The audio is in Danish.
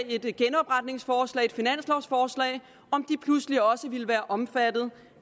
et genopretningsforslag et finanslovforslag om de pludselig også ville være omfattet